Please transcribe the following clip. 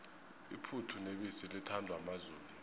iphuthu nebisi lithandwa mazulu